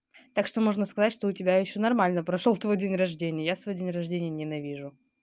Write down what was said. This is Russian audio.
так что можно сказать что у тебя ещё нормально прошёл твой день рождения я свой день рождения ненавижу